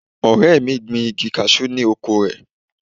Ọ̀rẹ́ mi gbin igi cashew ni oko rẹ̀.